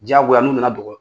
Diyagoya n'u nana dɔgɔ